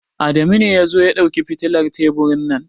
Adamu ne ya zo ya dauki fitilar teburin nan.